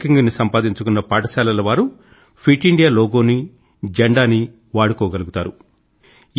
ఈ ర్యాంకింగ్ ని సంపాదించుకున్న పాఠశాలల వారు ఫిట్ ఇండియా లోగోనీ జెండానీ వాడుకోగలుగుతారు